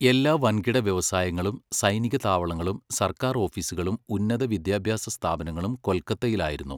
എല്ലാ വൻകിട വ്യവസായങ്ങളും സൈനിക താവളങ്ങളും സർക്കാർ ഓഫീസുകളും ഉന്നത വിദ്യാഭ്യാസ സ്ഥാപനങ്ങളും കൊൽക്കത്തയിലായിരുന്നു.